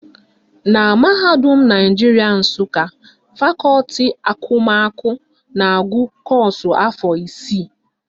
Na mahadum Naijiria Nsụka, fakọti akụmakụ na-agụ kọ́ọ̀sụ̀ afọ isii